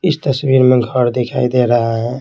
इस तस्वीर में घर दिखाई दे रहा है।